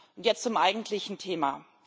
Und jetzt zum eigentlichen Thema.